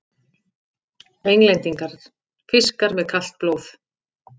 Englendingar: fiskar með kalt blóð!